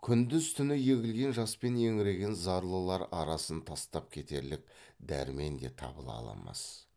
күндіз түні егілген жаспен еңіреген зарлылар арасын тастап кетерлік дәрмен де табыла алмас